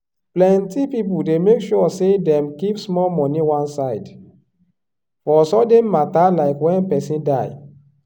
plenti people dey make sure say dem keep small money one side for sudden mata like when person die.